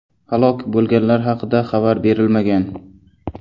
Halok bo‘lganlar haqida xabar berilmagan.